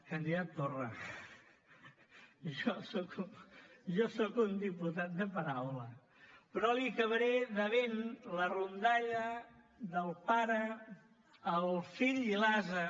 candidat torra jo soc un diputat de paraula però li acabaré devent la rondalla del pare el fill i l’ase